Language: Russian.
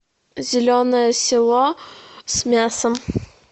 зеленое село с мясом